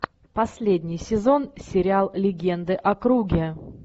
последний сезон сериал легенды о круге